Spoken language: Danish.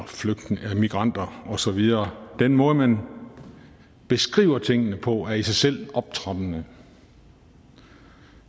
migranter og så videre den måde man beskriver tingene på er i sig selv optrappende